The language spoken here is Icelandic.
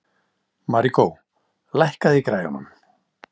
Maríkó, lækkaðu í græjunum.